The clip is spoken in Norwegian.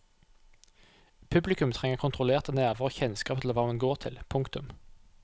Publikum trenger kontrollerte nerver og kjennskap til hva man går til. punktum